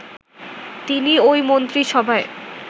তিনি ওই মন্ত্রিসভায়